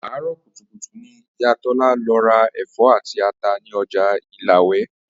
Àárò̩ kùtùkùtù ni ìyá Tó̩la lo̩ ra è̩fó̩ àti ata ní o̩jà Ìlawè̩